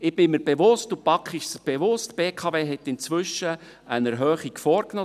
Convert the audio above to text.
Ich bin mir bewusst und die BaK ist sich bewusst, dass die BKW inzwischen eine Erhöhung vorgenommen hat.